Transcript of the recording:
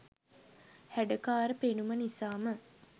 හැඩකාර පෙනුම නිසාම